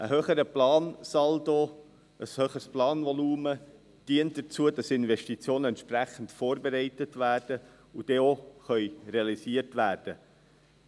Ein höherer Plansaldo, ein höheres Planvolumen dient dazu, dass Investitionen entsprechend vorbereitet werden und dann auch realisiert werden können.